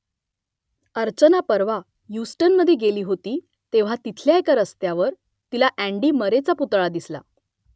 अर्चना परवा ह्युस्टनमधे गेली होती तेव्हा तिथल्या एका रस्त्यावर तिला अँडी मरेचा पुतळा दिसला